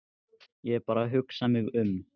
Ég er bara að hugsa mig um.